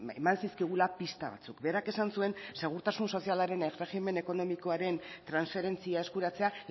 eman zizkigula pista batzuk berak esan zuen segurtasun sozialaren erregimen ekonomikoaren transferentzia eskuratzea